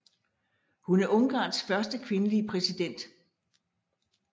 Hun er Ungarns første kvindelige præsident